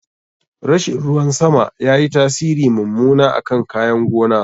Rashin ruwan sama yayi tasiri mummuna akan kayan gona.